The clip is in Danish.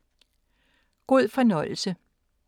God fornøjelse.